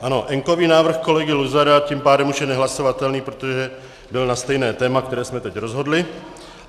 Ano, enkový návrh kolegy Luzara tím pádem už je nehlasovatelný, protože byl na stejné téma, které jsme teď rozhodli.